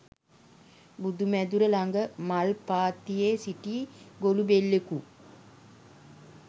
බුදු මැදුර ළඟ මල් පාත්තියේ සිටි ගොළුබෙල්ලෙකු